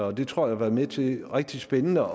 og det tror jeg var med til på en rigtig spændende